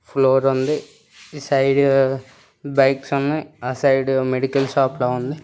Floor ఉంది. ఈ side bikes ఉన్నయ్. ఆ సైడ్ మెడికల్ షాప్ లా ఉంది.